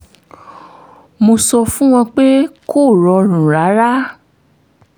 mo sọ fún wọn pé kò rọrùn rárá